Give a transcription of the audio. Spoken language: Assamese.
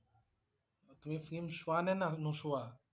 তুমি film চোৱা নে ন~নুচুৱা?